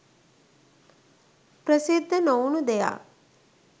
ප්‍රසිද්ධ නොවුණු දෙයක්